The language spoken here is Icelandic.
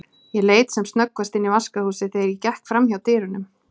Ég leit sem snöggvast inn í vaskahúsið þegar ég gekk framhjá dyrunum.